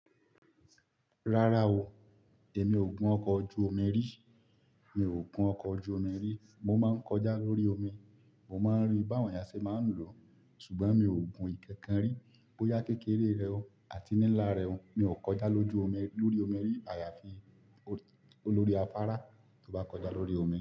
Rárá o, èmi ò gùn ọkọ̀ ojú omi rí, mi ò gùn ọkọ̀ ojú omi rí, mo máa ń kọjá lórí omi, mo máa ń rí báwọn eyá ṣe máa ń lọ, ṣùgbọ́n mi ò gùn ìkakan rí, bóyá kékeré rẹ o àti nílá rẹ o, mi ò kọjá lójú omi, lórí omi rí àyàfi olórí afárá tó bá kọjá lórí omi.